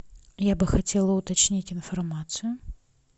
я бы хотела уточнить информацию